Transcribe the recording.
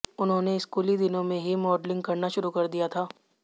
उन्होने स्कूली दिनों में हीं मॉडलिंग करना शुरु कर दिया था